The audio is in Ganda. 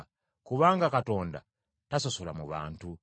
Kubanga Katonda tasosola mu bantu.